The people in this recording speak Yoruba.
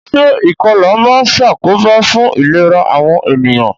Se ìkolà ma n sàkóbá fun ìlera àwon ènìyàn